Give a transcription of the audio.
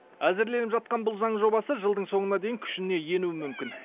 әзірленіп жатқан бұл заң жобасы жылдың соңына дейін күшіне енуі мүмкін